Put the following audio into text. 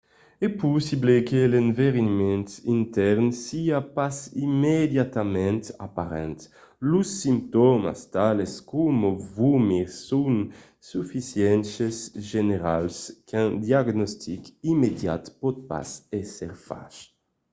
es possible que l'enverinament intèrn siá pas immediatament aparent. los simptòmas tales coma vomir son sufisentament generals qu'un diagnostic immediat pòt pas èsser fach